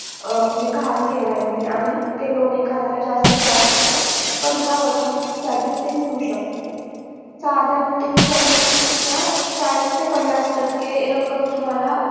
म्हणजे गहाण ठेवायचं आणि ते loan एखाद्याला जास्तीत जास्त पंधरा वर्षासाठी ते मिळू शकत साधारण ते संपत्तीच्या चाळीस ते पन्नास टक्के रक्कम तुम्हाला